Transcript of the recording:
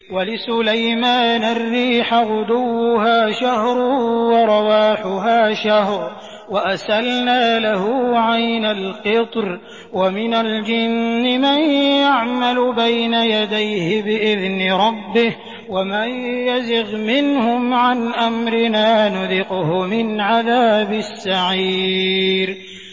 وَلِسُلَيْمَانَ الرِّيحَ غُدُوُّهَا شَهْرٌ وَرَوَاحُهَا شَهْرٌ ۖ وَأَسَلْنَا لَهُ عَيْنَ الْقِطْرِ ۖ وَمِنَ الْجِنِّ مَن يَعْمَلُ بَيْنَ يَدَيْهِ بِإِذْنِ رَبِّهِ ۖ وَمَن يَزِغْ مِنْهُمْ عَنْ أَمْرِنَا نُذِقْهُ مِنْ عَذَابِ السَّعِيرِ